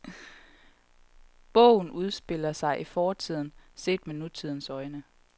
Bogen udspiller sig i fortiden, set med nutidens øjne.